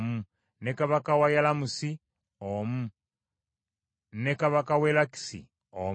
ne kabaka w’e Yalamusi omu, ne kabaka w’e Lakisi omu,